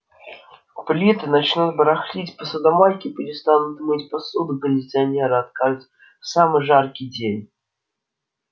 плиты начнут барахлить посудомойки перестанут мыть посуду кондиционеры откажут в самый жаркий день